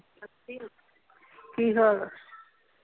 ਕੀ ਹਾਲ ਆ?